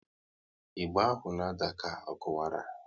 Ịgba ahụ na ada ka ọ kuwara